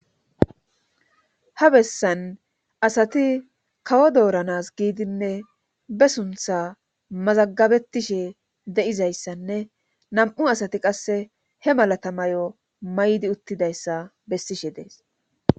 ha bessan asati kawo dooranas giidinne be suntha mazagabetishe de7izayssanne nam7u asati qasse he malatamayo maydi uttidayssa bessishe dees